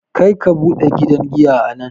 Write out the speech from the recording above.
Karka buɗe gidan giya a nan!